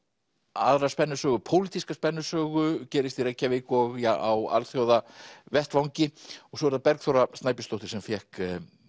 aðra spennusögu pólitíska spennusögu gerist í Reykjavík og á alþjóðavettvangi og svo er það Bergþóra Snæbjörnsdóttir sem fékk